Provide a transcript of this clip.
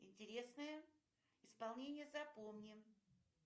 интересное исполнение запомни